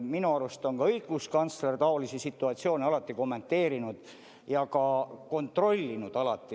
Minu arust on ka õiguskantsler taolisi situatsioone alati kommenteerinud ja ka kontrollinud.